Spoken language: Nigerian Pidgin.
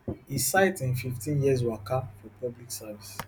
e cite im fifteen years waka for public service